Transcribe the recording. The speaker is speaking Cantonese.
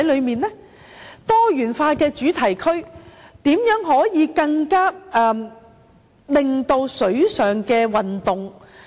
在多元化的主題區方面，如何可以進行適合的水上運動？